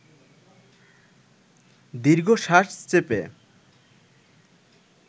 দীর্ঘশ্বাস চেপে